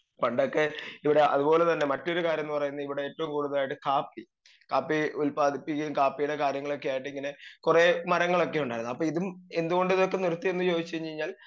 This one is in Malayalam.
സ്പീക്കർ 2 പണ്ടൊക്കെ ഇവിടെ അത് പോലെ തന്നെ മറ്റൊരു കാര്യം ന്ന് പറയുന്നത് ഇവിടെ ഏറ്റോം കൂടുതലായിട്ട് കാപ്പി കാപ്പി ഉൽപ്പാദിപ്പിക്കേം കാപ്പിയുടെ കാര്യങ്ങളൊക്കെയായിട്ട് ഇങ്ങനെ കൊറേ മരങ്ങളൊക്കെ ഉണ്ടായിരുന്നു അപ്പൊ ഇതും എന്ത്കൊണ്ട് ഇതൊക്കെ നിർത്തി എന്ന് ചോയിച്ചയ്ഞ്ഞയ്ഞ്ഞാൽ